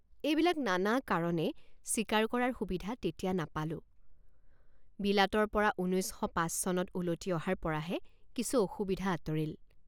এইবিলাক নানা কাৰণে চিকাৰ কৰাৰ সুবিধা তেতিয়া নাপালোঁ৷ বিলাতৰপৰা ঊনৈছ শ পাঁচ চনত উলটি অহাৰ পৰাহে কিছু অসুবিধা আঁতৰিল।